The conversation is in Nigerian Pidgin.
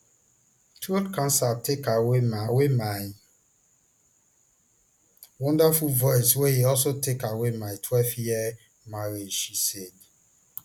throat cancer take away my away my wonderful voice wey e also take away my twelveyear marriage she said